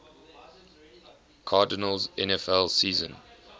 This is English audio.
cardinals nfl season